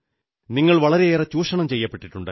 നിങ്ങൾ വളരെയേറെ ചൂഷണം ചെയ്യപ്പെട്ടിട്ടുണ്ട്